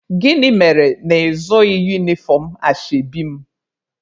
Gịnị mere na ị zụghị unifọm ashebi m?